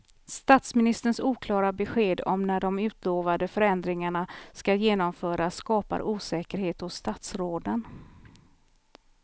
Statsministerns oklara besked om när de utlovade förändringarna ska genomföras skapar osäkerhet hos statsråden.